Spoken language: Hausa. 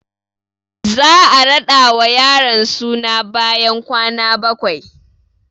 Za a raɗa wa yaron suna bayan kwana bakwai